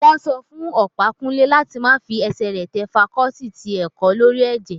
Wọ́n sọ fún Ọ̀pákúnlé láti má fi ẹsẹ̀ rẹ̀ tẹ fakọọti ti ẹ̀kọ́ lórí ẹ̀jẹ̀